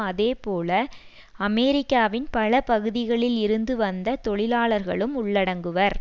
அதேபோல அமெரிக்காவின் பல பகுதிகளில் இருந்து வந்த தொழிலாளர்களும் உள்ளடங்குவர்